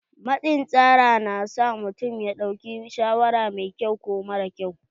Matsin tsara na sa mutum ya ɗauki shawara mai ƙyau ko mara ƙyau.